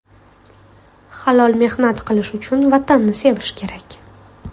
Halol mehnat qilish uchun Vatanni sevish kerak.